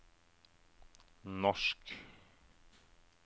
norsk